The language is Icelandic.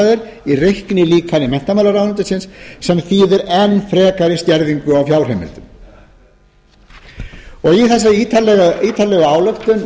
er í reiknilíkani menntamálaráðuneytis sem þýðir enn frekari skerðingu á fjárheimildum í þessari ítarlegu ályktun